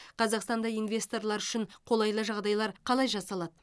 қазақстанда инвесторлар үшін қолайлы жағдайлар қалай жасалады